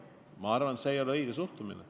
Ma arvan, et see ei ole õige suhtumine.